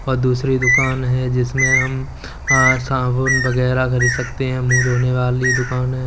और दूसरी दुकान है जिसमें हम साबुन वगैरह खरीद सकते हैं। मुंह धोने वाली दुकान है।